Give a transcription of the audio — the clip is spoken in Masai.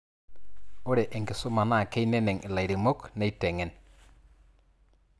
ore enkisuma naa keineneng' ilairemok neiteng'en